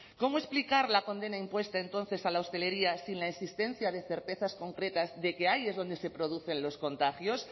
cómo explicar la condena impuesta entonces a la hostelería sin la existencia de certezas concretas de que ahí es donde se producen los contagios